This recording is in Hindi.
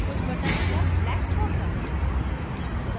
कुछ बटन्स को black छोड़कर